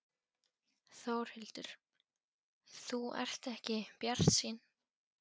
Þórhildur: Þú ert ekki bjartsýnn?